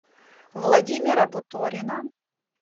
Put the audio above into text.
владимира буторина